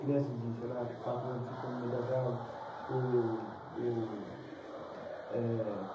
Crianças de, sei lá, quatro anos cinco anos no meio das árvores o o eh.